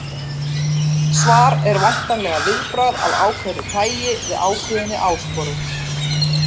Svar er væntanlega viðbragð af ákveðnu tæi við ákveðinni áskorun.